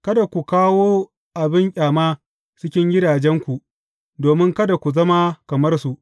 Kada ku kawo abin ƙyama cikin gidajenku, domin kada ku zama kamar su.